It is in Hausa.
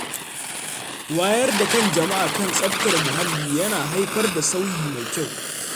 Wayar da kan jama’a kan tsaftar muhalli yana haifar da sauyi mai kyau.